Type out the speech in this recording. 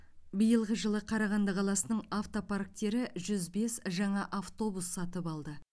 биылғы жылы қарағанды қаласының автопарктері жүз бес жаңа автобус сатып алды